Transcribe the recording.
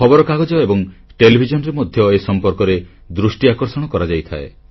ଖବରକାଗଜ ଏବଂ ଟେଲିଭିଜନରେ ମଧ୍ୟ ଏ ସମ୍ପର୍କରେ ଦୃଷ୍ଟି ଆକର୍ଷଣ କରାଯାଇଥାଏ